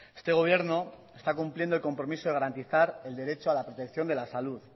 este gobierno está cumpliendo el compromiso de garantizar el derecho a la protección de la salud